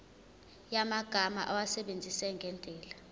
yamagama awasebenzise ngendlela